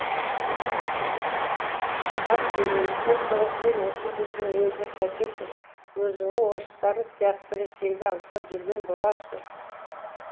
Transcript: аз бөгелістен соң сен осы біздің елді қайтесің өзіңнің орыстарың сияқты ресейді аңсап жүрген боларсың